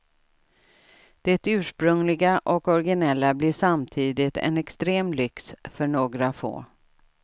Det ursprungliga och originella blir samtidigt en extrem lyx för några få.